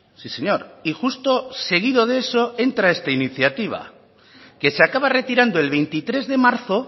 sí señor y justo seguido de eso entra esta iniciativa que se acaba retirando el veintitrés de marzo